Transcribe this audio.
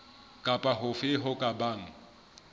kapa hofe ho ka bang